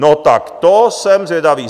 No tak to jsem zvědav.